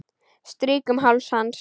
Strýk um háls hans.